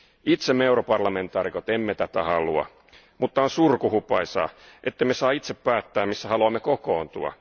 Itse me europarlamentaarikot emme tätä halua ja on surkuhupaisaa, ettemme saa itse päättää, missä haluamme kokoontua.